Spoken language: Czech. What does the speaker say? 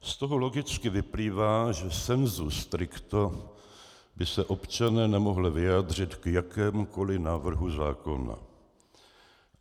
Z toho logicky vyplývá, že sensu stricto by se občané nemohli vyjádřit k jakémukoli návrhu zákona.